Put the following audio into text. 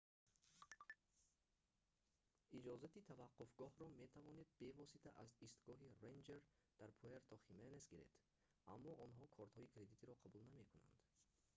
иҷозати таваққуфгоҳро метавонед бевосита аз истгоҳи рэнҷер дар пуэрто-хименес гиред аммо онҳо кортҳои кредитиро қабул намекунанд